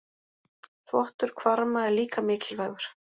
Þvottur hvarma er líka mikilvægur.